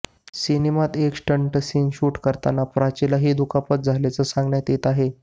सिनेमात एक stunt scene shoot करताना प्राचीला ही दुखापत झाल्याचं सांगण्यात येत आहे